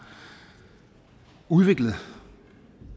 udviklet